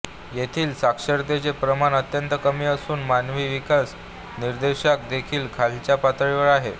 येथील साक्षरतेचे प्रमाण अत्यंत कमी असून मानवी विकास निर्देशांक देखील खालच्या पातळीवर आहे